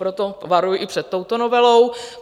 Proto varuji i před touto novelou.